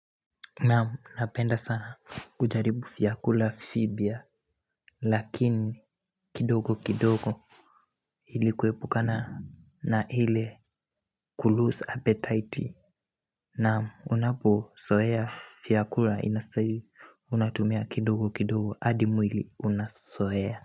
Naam napenda sana kujaribu vyakula vipya lakini kidogo kidogo ili kuepukana na ile kuloose apetite. Naam unapozoea vyakula inastahili unatumia kidogo kidogo hadi mwili unazoea.